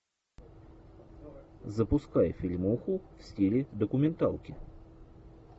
запускай фильмуху в стиле документалки